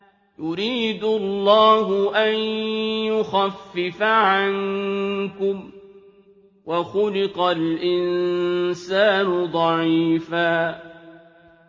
يُرِيدُ اللَّهُ أَن يُخَفِّفَ عَنكُمْ ۚ وَخُلِقَ الْإِنسَانُ ضَعِيفًا